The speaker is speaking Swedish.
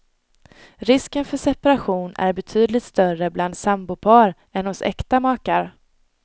Risken för separation är betydligt större bland sambopar än hos äkta makar.